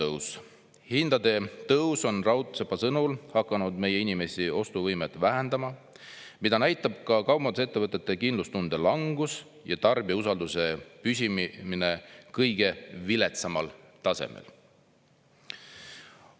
Hindade tõus on Raudsepa sõnul hakanud meie inimeste ostuvõimet vähendama, mida näitab ka kaubandusettevõtete kindlustunde langus ja tarbijausalduse püsimine kõige viletsamal tasemel."